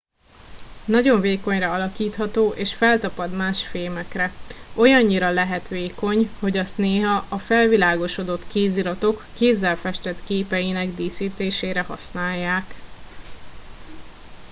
nagyon vékonyra alakítható és feltapad más fémekre olyannyira lehet vékony hogy azt néha a felvilágosodott kéziratok kézzel festett képeinek díszítésére használják